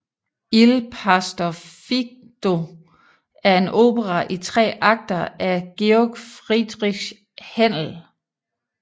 Il pastor fido er en opera i tre akter af Georg Friedrich Händel